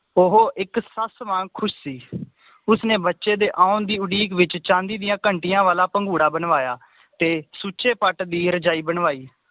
ਉਹ ਇੱਕ ਸੱਸ ਵਾਂਗ ਖੁਸ਼ ਸੀ ਉਸਨੇ ਬਚੇ ਦੇ ਆਉਣ ਦੀ ਉਡੀਕ ਵਿਚ ਚਾਂਦੀ ਦੀਆਂ ਘੰਟੀਆਂ ਵਾਲਾ ਭੰਗੂੜਾ ਬਣਵਾਇਆ ਤੇ ਸੁਚੇ ਪੱਟ ਦੀ ਰਜਾਈ ਬਣਵਾਈ